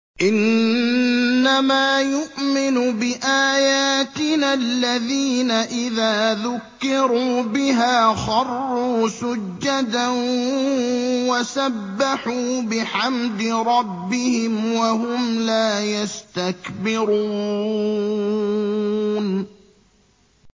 إِنَّمَا يُؤْمِنُ بِآيَاتِنَا الَّذِينَ إِذَا ذُكِّرُوا بِهَا خَرُّوا سُجَّدًا وَسَبَّحُوا بِحَمْدِ رَبِّهِمْ وَهُمْ لَا يَسْتَكْبِرُونَ ۩